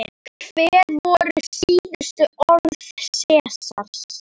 Hver voru síðustu orð Sesars?